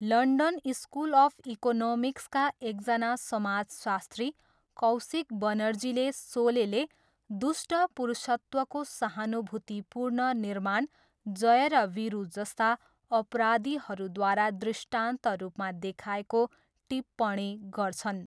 London school of इकोनोमिक्सका एकजना समाजशास्त्री कौशिक बनर्जीले सोलेले 'दुष्ट' पुरुषत्वको सहानुभूतिपूर्ण निर्माण जय र वीरु जस्ता अपराधीहरूद्वारा दृष्टान्त रूपमा देखाएको टिप्पणी गर्छन्।